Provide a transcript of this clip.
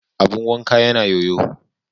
Abun wanka yana yoyo.